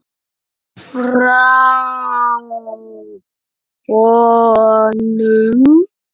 Frá honum!